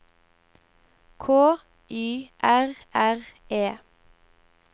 K Y R R E